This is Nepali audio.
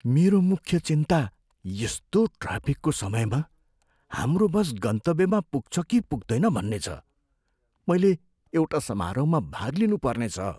मेरो मुख्य चिन्ता यस्तो ट्राफिकको समयमा हाम्रो बस गन्तव्यमा पुग्छ कि पुग्दैन भन्ने छ, मैले एउटा समारोहमा भाग लिनुपर्ने छ।